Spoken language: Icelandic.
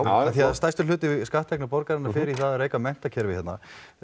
af því að stærstur hluti skatttekna borgarinnar fer í að reka menntakerfi hérna